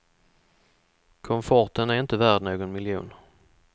Komforten är inte värd någon miljon.